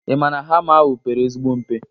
Ị maa na hama ahụ pere ezigbo mpe?